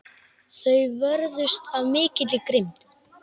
Þeir vörðust af mikilli grimmd.